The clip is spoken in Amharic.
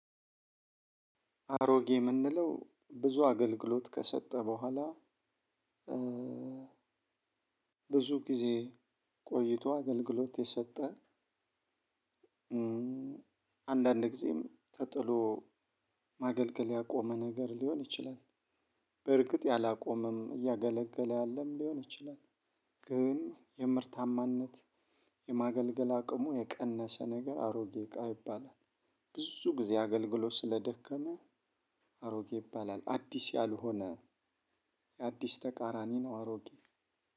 አሮጌ ምንለው ብዙ አግልግሎት ከሰጠ በኋላ ብዙ ጊዜ ቆይቶ አገልግሎት የሰጠ። አንዳንድ ጊዜም ተጥሎ ማገልገል ያቆመ ነገርሊሆን ይችላል። በርግጥ ያላቆመም እያገለገለ ያለም ሊሆን ይችላል። ግን የምርታማነት የማገልገል አቅሙ የቀነሰ ነገር አሮጌ እቃ ይባላል። ብዙ ጊዜ አገልግሎት ስለደከመ አሮጌ ይባላል። አዲስ ያልሆነ የአዲስ ተቃራኒ ነው። አሮጌ